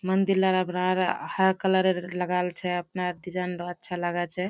मंदिर आब हरा कलर लगाल छै अपना डिजाइन अच्छा लगे छै।